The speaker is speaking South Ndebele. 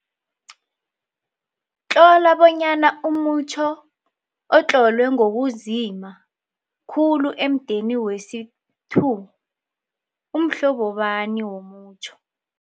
Tlola bonyana umutjho otlolwe ngokunzima khulu emudeni wesi-2 umhlobo bani womutjho.